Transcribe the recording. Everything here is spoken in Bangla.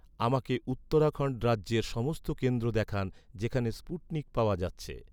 আমাকে উত্তরাখণ্ড রাজ্যের সমস্ত কেন্দ্র দেখান, যেখানে স্পুটনিক পাওয়া যাচ্ছে